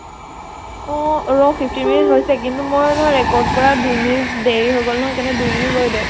অʼ ৰʼ । fifteen minute হৈছে কিন্তু মই নহয় record কৰা দুই minute দেৰি হৈ গʼল নহয় । সেইকাৰণে দুই minute ৰৈ দে ।